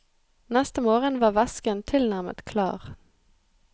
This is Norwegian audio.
Neste morgen var væsken tilnærmet klar.